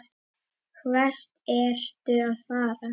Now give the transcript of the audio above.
Hvert ertu að fara?